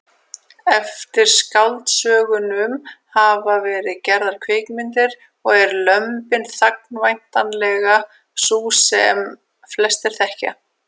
Eftir skáldsögunum hafa verið gerðar kvikmyndir og er Lömbin þagna væntanlega sú sem flestir þekkja.